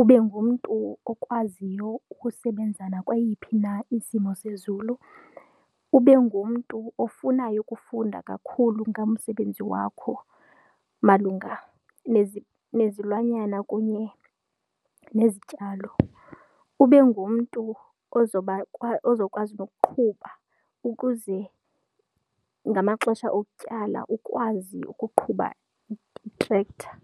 ube ngumntu okwaziyo ukusebenza nakweyiphi na isimo sezulu, ube ngumntu ofunayo ukufunda kakhulu ngamsebenzi wakho malunga nezilwanyana kunye nezityalo. Ube ngumntu ozokwazi nokuqhuba ukuze ngamaxesha okutyala ukwazi ukuqhuba i-tractor.